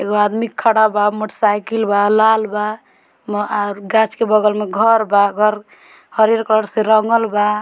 एगो आदमी खड़ा बा मोटर साइकिल बा लाल बा और गाछ के बगल में घर बा और घर हरियर कलर से रंगल बा।